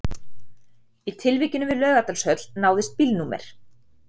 Í tilvikinu við Laugardalshöll náðist bílnúmer